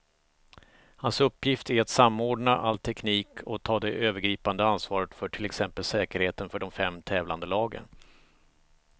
Hans uppgift är att samordna all teknik och ta det övergripande ansvaret för till exempel säkerheten för de fem tävlande lagen.